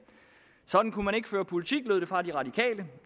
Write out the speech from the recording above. sådan kunne man ikke føre politik lød det fra det radikale